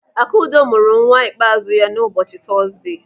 Akudo mụrụ nwa ikpeazụ ya na ụbọchị Tọzde.